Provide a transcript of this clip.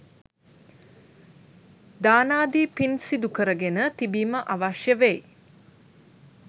දානාදී පින් සිදු කරගෙන තිබීම අවශ්‍ය වෙයි.